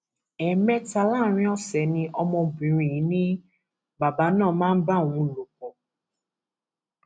ẹẹmẹta láàrin ọsẹ ni ọmọbìnrin yìí ni bàbá náà máa ń bá òun lò pọ